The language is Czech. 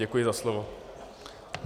Děkuji za slovo.